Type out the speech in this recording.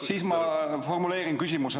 Siis ma formuleerin küsimusena.